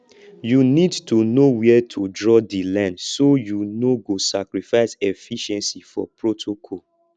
you need to know where to draw di line so you no go sacrifice efficiency for protocol